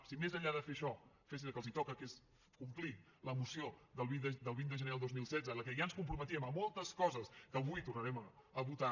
si més enllà de fer això fessin el que els toca que és complir la moció del vint de gener del dos mil setze en la que ja ens comprometíem a moltes coses que avui tornarem a votar